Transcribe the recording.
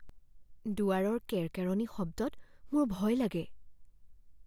দুৱাৰৰ কেৰকেৰনি শব্দত মোৰ ভয় লাগে।